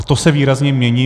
A to se výrazně mění.